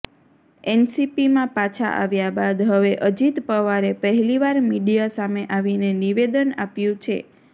એનસીપીમાં પાછા આવ્યા બાદ હવે અજિત પવારે પહેલી વાર મીડિયા સામે આવીને નિવેદન આપ્યુ છે